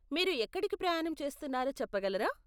మీరు ఎక్కడికి ప్రయాణం చేస్తున్నారో చెప్పగలరా?